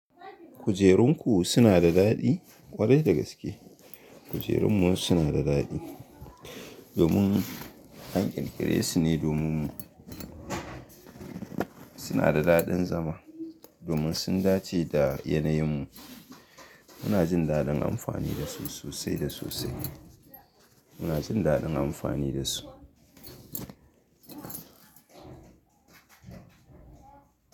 Kujerunku suna da daɗi ƙwarai da gaske. Kujerunmu suna da daɗi. Domin an ƙirƙire su ne domin mu. Suna da daɗin zama domin sun dace da yanayinmu. Muna jin daɗin amfani da su sosai da sosai. Muna jin daɗin amfani da su.